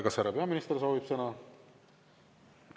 Kas härra peaminister soovib sõna?